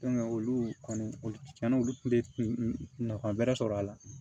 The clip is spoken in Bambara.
olu kɔni olu tiɲɛna olu kun bɛ nafa wɛrɛ sɔrɔ a la